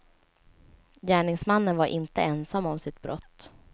Gärningsmannen var inte ensam om sitt brott.